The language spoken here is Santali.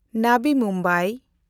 ᱱᱟᱵᱤ ᱢᱩᱢᱵᱟᱭ